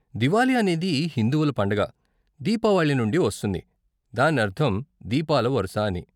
దివాలి అనేది హిందువుల పండుగ దీపావళి నుండి వస్తుంది, దాని అర్ధం 'దీపాల వరుస' అని.